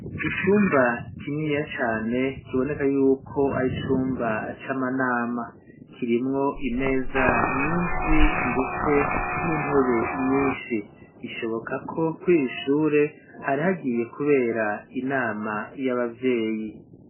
Iicumba kininiya cane kiboneka yuko ari cumba c'amanama, kirimwo imeza nyinshi ndetse n'intebe nyinshi bishoboka ko kw'ishure hari hagiye kubera inama y'abavyeyi.